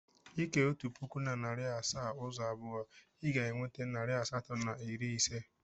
Ị kee otu pụkụ na narị asaa ụzọ abụọ, ị ga-enweta narị asatọ na iri ise.